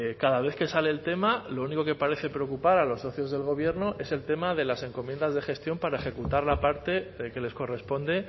cada vez que sale el tema lo único que parece preocupar a los socios del gobierno es el tema de las encomiendas de gestión para ejecutar la parte que les corresponde